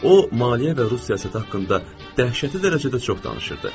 O maliyyə və Rusiyası haqda dəhşəti dərəcədə çox danışırdı.